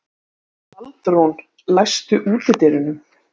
Baldrún, læstu útidyrunum.